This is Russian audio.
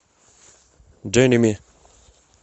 дженими